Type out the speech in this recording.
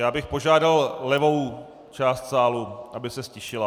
Já bych požádal levou část sálu, aby se ztišila.